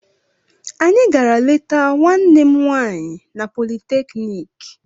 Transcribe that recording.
Anyị gara leta nwanne m nwaanyị na politeknik